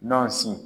Nɔnɔ sin